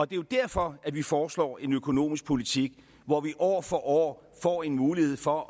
det er derfor vi foreslår en økonomisk politik hvor vi år for år får en mulighed for